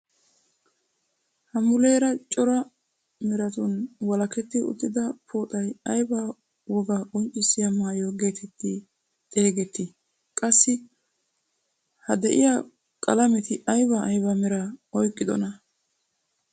Ha muleera cora meratun walaketti uttida pooxay aybaa wogaa qonccisiyaa maayo getetti xeegettii? qassi ha de'iyaa qalameti ayba ayba meraa oyqqidoonaa?